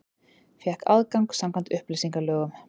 Fékk aðgang samkvæmt upplýsingalögum